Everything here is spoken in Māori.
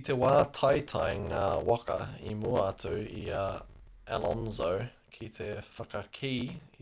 i te wā i taetae ngā waka i mua atu i a alonso ki te whakakī